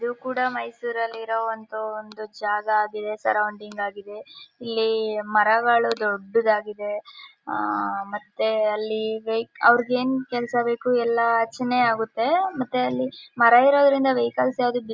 ಇವು ಕೂಡ ಮೈಸೂರಲ್ಲಿ ಇರೋ ಅಂತ ಒಂದು ಜಾಗ ಆಗಿದೆ ಸರೌಂಡಿಂಗ್ ಆಗಿದೆ ಇಲ್ಲಿ ಮರಗಳು ದೊಡ್ಡದಾಗಿದೆ ಆಹ್ಹ್ ಮತ್ತೆ ಅಲ್ಲಿ ವೆಹಿ ಅವ್ರಿಗ್ ಏನ್ ಕೆಲಸ ಬೇಕು ಎಲ್ಲ ಆಗುತ್ತೆ ಮತ್ತೆ ಅಲ್ಲಿ ಮರ ಇರೋದ್ರಿಂದ ವೆಹಿಕಲ್ಸ್ ಯಾವ್ದು-